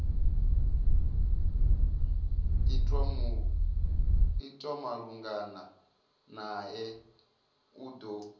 itwa malugana nae u do